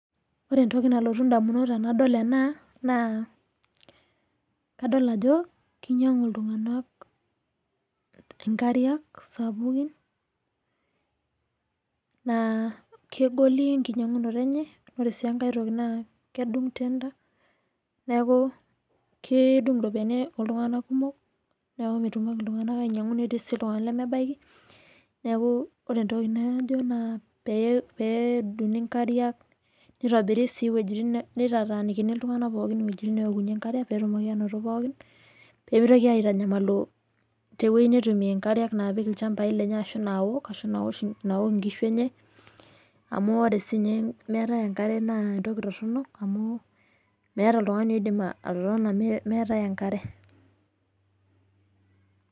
Ore entoki nalotu idamunot tenadol enaa kadol ajo kinyangu iltung'ana inkariak sapukin naa kegol enkinyang'unoto enye oree sii enkae toki naa kedung' tenda neeku kedung' iropiani oo ltung'ana kumok neeku metumoki iltung'ana ainyang'u neeti sii iltung'ana lemebaki neeku oreentoki najo naa pee edunguni inkariaki nitobiri sii iwejitin nitaataniki iltung'ana iwejitin pookin neokunye nkariak peetumoki anoto pookin pemitoki aitangamalu teneweji netum inkariak napik ilchambai lenye ashu naok ashu naok inkishu enye amu ore sii ninye meetae enkare naa entoki toronok amu meeta meetae oltung'ani oidim atotona meetae enkare.